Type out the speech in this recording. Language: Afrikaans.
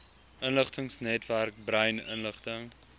inligtingsnetwerk brain inligting